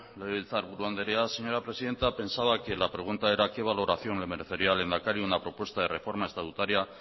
legebiltzarburu andrea señora presidenta pensaba que la pregunta era qué valoración le merecería al lehendakari una propuesta de reforma estatutaria